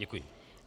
Děkuji.